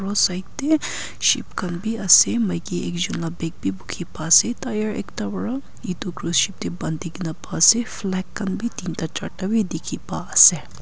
aro side dae ship khan bi asae maiki ekjun la bag bi buki pai asae tyre ekta para etu cruise ship dae bantikina pai asae flag khan bi tinta jarta.